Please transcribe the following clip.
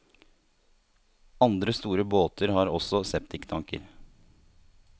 Andre store båter har også septiktanker.